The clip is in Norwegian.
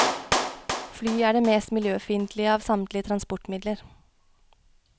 Fly er det mest miljøfiendtlige av samtlige transportmidler.